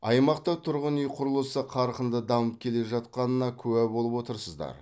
аймақта тұрғын үй құрылысы қарқынды дамып келе жатқанына куә болып отырсыздар